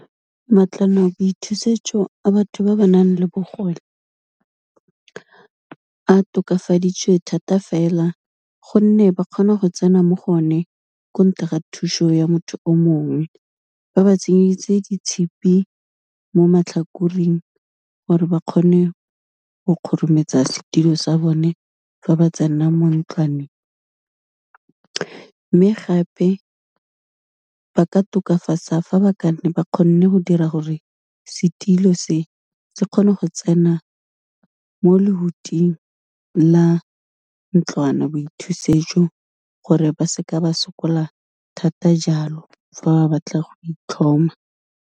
Mantlwanaboithusetso a batho ba ba nang le bogole, a tokafaditswe thata fela, gonne ba kgona go tsena mo go one ko ntle ga thuso ya motho o mongwe, ba ba tsenyeditse di tshipi mo matlhakoring gore ba kgone go kgorometsa setilo sa bone, fa ba tsena mo ntlwaneng, mme gape ba ka tokafatsa fa ba ka ba ka nne ba kgonne go dira gore setilo se, se kgone go tsena mo lehuting la ntlwanaboithusetso gore ba se ke ba sokola thata jalo, fa ba batla go itlhoma.